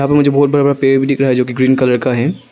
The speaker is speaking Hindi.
मुझे बहुत बड़ा बड़ा पेड़ भी दिख रहा है जो कि ग्रीन कलर का है।